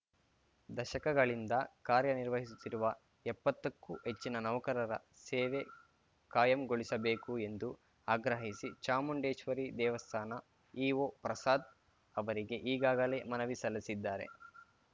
ದಶಕಗಳಿಂದ ಕಾರ್ಯ ನಿರ್ವಹಿಸುತ್ತಿರುವ ಎಪ್ಪತ್ತಕ್ಕೂ ಹೆಚ್ಚಿನ ನೌಕರರ ಸೇವೆ ಕಾಯಂಗೊಳಿಸಬೇಕು ಎಂದು ಆಗ್ರಹಿಸಿ ಚಾಮುಂಡೇಶ್ವರಿ ದೇವಸ್ಥಾನ ಇಒ ಪ್ರಸಾದ್‌ ಅವರಿಗೆ ಈಗಾಗಲೇ ಮನವಿ ಸಲ್ಲಿಸಿದ್ದಾರೆ